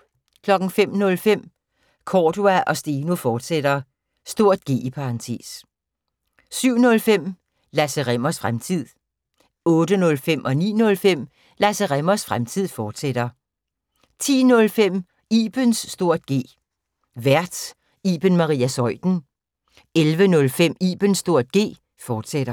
05:05: Cordua & Steno, fortsat (G) 07:05: Lasse Rimmers Fremtid 08:05: Lasse Rimmers Fremtid, fortsat 09:05: Lasse Rimmers Fremtid, fortsat 10:05: Ibens (G) Vært: Iben Maria Zeuthen 11:05: Ibens (G), fortsat